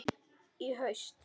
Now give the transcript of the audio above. Í haust?